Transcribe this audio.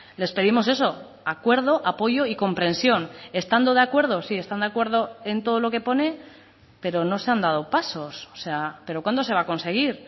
les pedimos eso acuerdo apoyo y comprensión estando de acuerdo si están de acuerdo en todo lo que pone pero no se han dado pasos pero cuándo se va a conseguir